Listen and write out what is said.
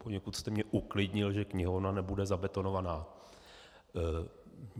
Poněkud jste mě uklidnil, že knihovna nebude zabetonovaná.